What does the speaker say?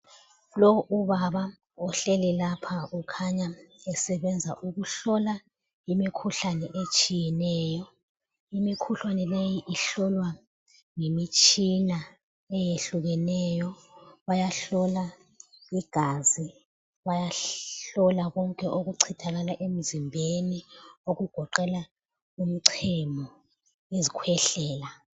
Lowu ubaba ohleli lapha ukhanya esebenza ukuhlola imikhuhlane etshiyeneyo. Imikhuhlane leyi ihlolwa yimitshina eyehlukeneyo. Bayahlola igazi, bayahlola konke okuchithakala emzimbeni okugoqela umchemo, izikhwehlela.